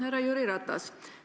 Härra Jüri Ratas!